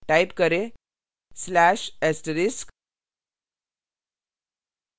type करें/*